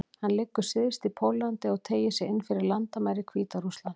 Hann liggur syðst í Póllandi og teygir sig inn fyrir landamæri Hvíta-Rússlands.